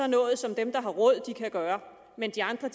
noget som dem der har råd kan gøre men de andre